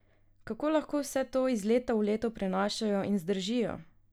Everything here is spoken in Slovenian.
Kako lahko vse to iz leta v leto prenašajo in zdržijo?